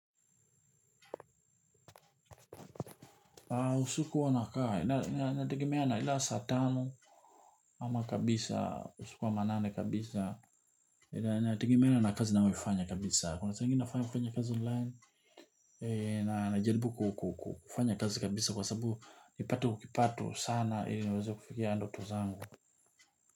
Usiku huwa nakaa, inategemea ile ya saa tano ama kabisa, usiku wa manane kabisa inategemea na kazi nalolifanya kabisa, kuna sa ingine nafanya kufanya kazi online na najaribu kufanya kazi kabisa kwa sababu nipate huo kipato sana ili niweze kufikia ndoto zangu.